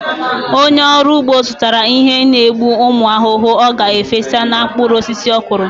Onye ọrụ ugbo zụtara ihe n'egbu ụmụ ahụhụ ọ ga-efesa na mkpụrụ osisi ọkụrụ.